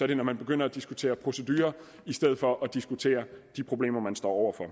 det når man begynder at diskutere procedurer i stedet for at diskutere de problemer man står over for